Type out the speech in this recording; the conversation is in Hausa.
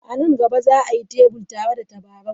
A nan gaba, za a yi Tables tare da tabarau.